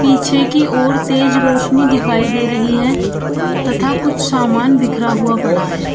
पीछे की ओर तेज रोशनी दिखाई दे रही है तथा कुछ सामान बिखरा हुआ पड़ा है।